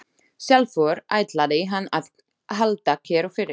Sjálfur ætlaði hann að halda kyrru fyrir.